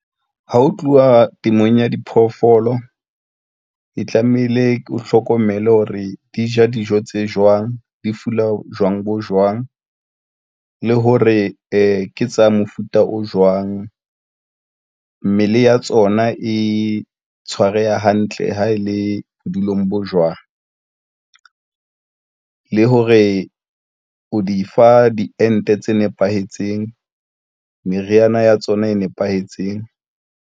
Ha ho tluwa temong ya diphoofolo e tlamehile, o hlokomele hore di ja dijo tse jwang di fula jwang bo jwang, le hore ke tsa mofuta o jwang. Mmele ya tsona e tshwareha hantle ha e le bodulong bo jwang le hore o di fa diente tse nepahetseng, meriana ya tsona e nepahetseng.